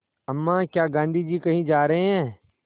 अम्मा क्या गाँधी जी कहीं जा रहे हैं